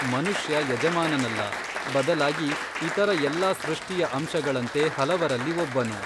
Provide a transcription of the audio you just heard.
ಮನುಷ್ಯಯಜಮಾನನಲ್ಲ ಬದಲಾಗಿ ಇತರ ಎಲ್ಲಾ ಸೃಷ್ಟಿಯ ಅಂಶಗಳಂತೆ ಹಲವರಲ್ಲಿ ಒಬ್ಬನು.